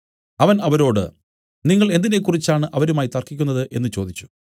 അവൻ അവരോട് നിങ്ങൾ എന്തിനെക്കുറിച്ചാണ് അവരുമായി തർക്കിക്കുന്നത് എന്നു ചോദിച്ചു